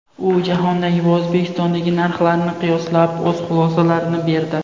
U jahondagi va O‘zbekistondagi narxlarni qiyoslab, o‘z xulosalarini berdi.